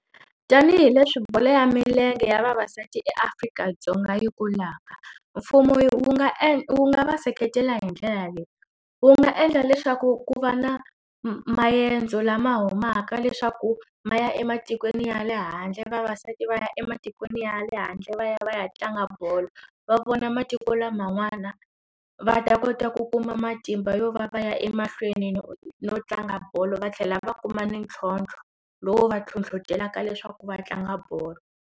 Tanihi leswi bolo ya milenge ya vavasati eAfrika-Dzonga yi kulaka mfumo wu nga e wu nga seketela hi ndlela leyi wu nga endla leswaku ku va na maendzo lama humaka leswaku ma ya ematikweni ya le handle vavasati va ya ematikweni ya le handle va ya va ya tlanga bolo va vona matiko laman'wana va ta kota ku kuma matimba yo va ya emahlweni no tlanga bolo va tlhela va kuma ni ntlhotlho lowu va hlohlotelaka leswaku va tlanga bolo.